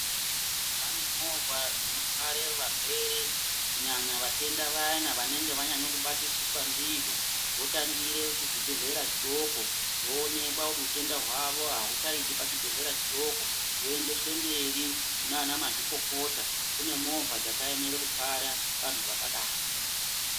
Pane movha dzino tware varwere kunyanya vatenda vayana vanenge vanyanya ku batisiswa ndizvo votangire ku zvi bhedhlera zvidoko zvoonekwa kuti utenda hwavo auchaiti pa chibhedhlera chidoko voendeswe mberi kune ana mazvikokota kune movha dzaka emere ku twara vantu vakadaro.